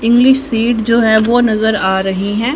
English seat जो है वह नजर आ रही है।